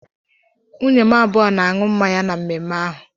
Nwunye m abụọ na-aṅụ mmanya na mmemme ahụ.